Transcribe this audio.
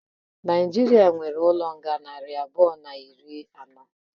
Naijiria nwéré ụlọ nga narị abụọ na iri ano